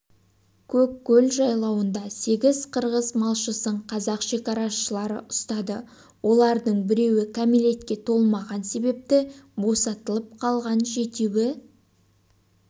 көккөл жайлауында сегіз қырғыз малшысын қазақ шекарашылары ұстады олардың біреуі кәмелетке толмаған себепті босатылып қалған жетеуі